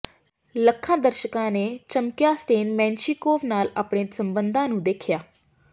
ਲੱਖਾਂ ਦਰਸ਼ਕਾਂ ਨੇ ਚਮਕੀਆ ਸਟੇਨ ਮੇਨਸ਼ੀਕੋਵ ਨਾਲ ਆਪਣੇ ਸਬੰਧਾਂ ਨੂੰ ਦੇਖਿਆ